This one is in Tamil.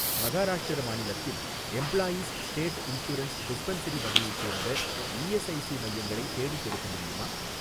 மகாராஷ்டிரா மாநிலத்தில் எம்ப்ளாயீஸ் ஸ்டேட் இன்சூரன்ஸ் டிஸ்பென்சரி வகையைச் சேர்ந்த இஎஸ்ஐஸி மையங்களை தேடிக்கொடுக்க முடியுமா?